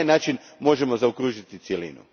Na taj način možemo zaokružiti cjelinu.